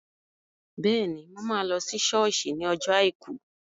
Bẹ́ẹ̀ni, mo máa lọ sí sọ́ọ̀sì ní ọjọ́ àìkú